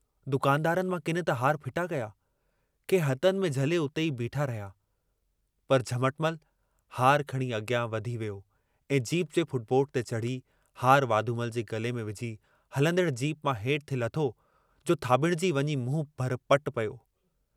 दुकानदारनि मां किन त हार फिटा कया, के हथनि में झले उते ई बीठा रहिया, पर झमटमल हार खणी अॻियां वधी वियो ऐं जीप जे फुट बोर्ड ते चढ़ी हार वाधूमल जे गले में विझी हलंदड़ जीप मां हेठ थे लथो जो थाब॒ड़िजी वञी मुंहं भर पटि पियो।